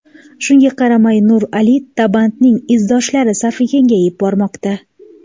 Shunga qaramay, Nur Ali Tobandining izdoshlari safi kengayib bormoqda.